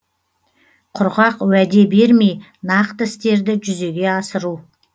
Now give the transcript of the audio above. құрғақ уәде бермей нақты істерді жүзеге асыру